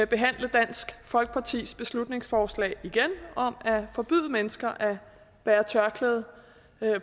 behandle dansk folkepartis beslutningsforslag om at forbyde mennesker at bære tørklæde